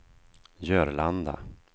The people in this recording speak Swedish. Jörlanda